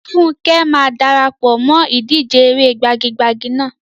Funke máa dara pọ̀ mọ́ ìdíje eré gbagi-gbagi náà.